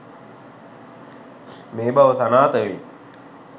මේ බව සනාථවෙයි.